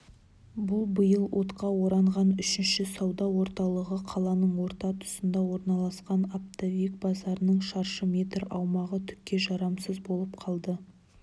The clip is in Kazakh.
бұл биыл отқа оранған үшінші сауда орталығы қаланың орта тұсында орналасқан оптовик базарының шаршы метр аумағы түкке жарамсыз болып қалды